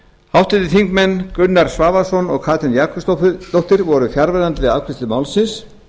háttvirtir þingmenn gunnar svavarsson og katrín jakobsdóttir voru fjarverandi við afgreiðslu málsins